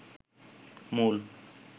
মূল